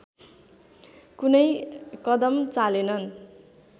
कुनै कदम चालेनन